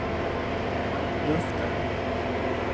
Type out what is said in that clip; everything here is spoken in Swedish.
luften